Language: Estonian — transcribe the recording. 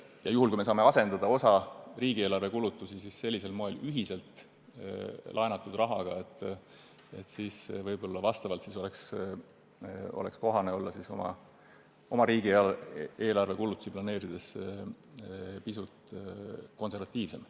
Ja juhul, kui saame asendada osa riigieelarve kulutusi sellisel moel, ühiselt laenatud rahaga, siis võib-olla oleks kohane oma riigieelarve kulutusi planeerides olla pisut konservatiivsem.